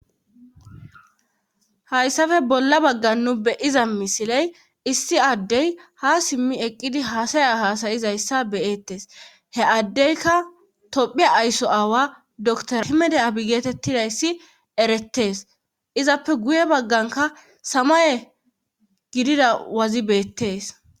hayssape bolla baggan nu beyiza misiley issi addey ha simmi eqqidi haasaya haasayizayssa beyettes he addeyka tophe aysso aawa dr himede abi geetettidayssi erettees izappe guye bagganka samaye gidida wazi beettees